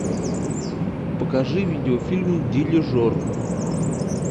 покажи видеофильм дирижер